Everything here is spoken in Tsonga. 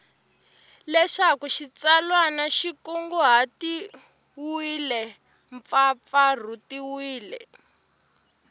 leswaku xitsalwana xi kunguhatiwile mpfapfarhutiwile